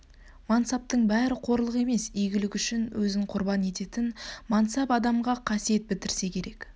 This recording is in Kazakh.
мансаптың бәрі қорлық емес игілік үшін өзін құрбан ететін мансап адамға қасиет бітірсе керек